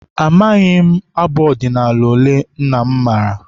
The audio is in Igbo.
Amaghị m abụ ọdịnala ole nna m maara.